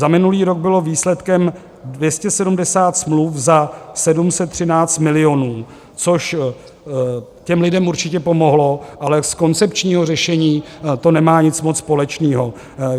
Za minulý rok bylo výsledkem 270 smluv za 713 milionů, což těm lidem určitě pomohlo, ale s koncepčním řešením to nemá nic moc společného.